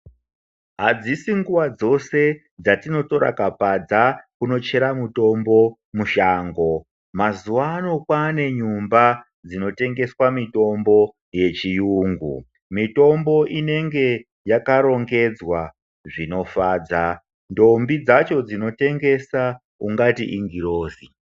Adzisi nguva dzose dzatinotora kapadza kuno chera mutombo mushango mazuano kwane nyumba dzinotengeswa mutombo yechiyungu mitombo inenge yakarongedzwa zvinofadza ndombi dzacho dzinotengesa ungati ingirozi.